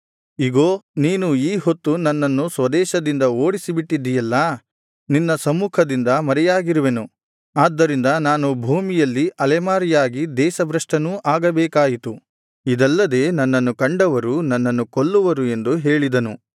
ಇಗೋ ನೀನು ಈ ಹೊತ್ತು ನನ್ನನ್ನು ಸ್ವದೇಶದಿಂದ ಓಡಿಸಿ ಬಿಟ್ಟಿದ್ದೀಯಲ್ಲಾ ನಿನ್ನ ಸಮ್ಮುಖದಿಂದ ಮರೆಯಾಗಿರುವೆನು ಆದ್ದರಿಂದ ನಾನು ಭೂಮಿಯಲ್ಲಿ ಅಲೆಮಾರಿಯಾಗಿ ದೇಶಭ್ರಷ್ಟನೂ ಆಗಬೇಕಾಯಿತು ಇದಲ್ಲದೆ ನನ್ನನ್ನು ಕಂಡವರು ನನ್ನನ್ನು ಕೊಲ್ಲುವರು ಎಂದು ಹೇಳಿದನು